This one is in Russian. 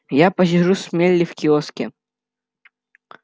я посижу с мелли в киоске